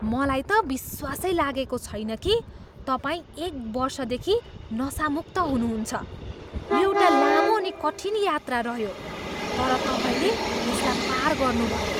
मलाई त विश्वासै लागेको छैन कि तपाईँ एक वर्षदेखि नसामुक्त हुनुहुन्छ! यो एउटा लामो अनि कठिन यात्रा रह्यो, तर तपाईँले यसलाई पार गर्नुभयो!